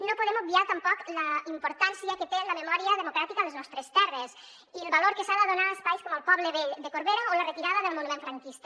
no podem obviar tampoc la importància que té la memòria democràtica a les nostres terres i el valor que s’ha de donar a espais com el poble vell de corbera o a la retirada del monument franquista